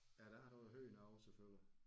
Ja det er noget helt andet selvfølgelig